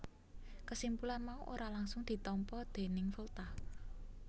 Kesimpulan mau ora langgsung ditampa déning Volta